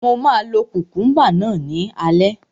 Mo máa lo kukumba náà ní alẹ́